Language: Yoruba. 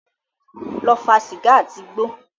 Lọ fa sìgá àti igbó.